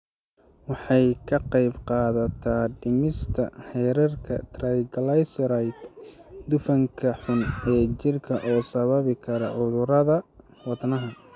Waxay ka qaybqaadataa dhimista heerarka triglycerides, dufanka xun ee jirka oo sababi kara cudurrada wadnaha.